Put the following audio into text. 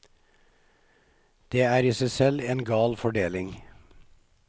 Det er i seg selv en gal fordeling.